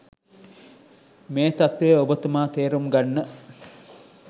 මේ තත්ත්වය ඔබතුමා තේරුම් ගන්න.